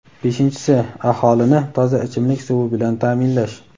Beshinchisi — aholini toza ichimlik suvi bilan ta’minlash.